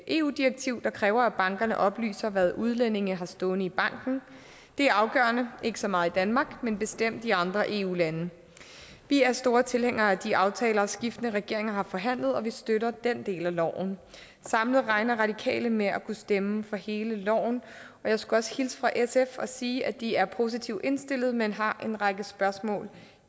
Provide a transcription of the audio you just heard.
eu direktiv der kræver at bankerne oplyser hvad udlændinge har stående i banken det er afgørende ikke så meget i danmark men bestemt i andre eu lande vi er store tilhængere af de aftaler skiftende regeringer har forhandlet og vi støtter den del af lovpakken samlet regner radikale med at kunne stemme for hele lovpakken og jeg skulle også hilse fra sf og sige at de er positivt indstillet men har en række spørgsmål